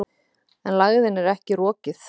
En lægðin er ekki rokið.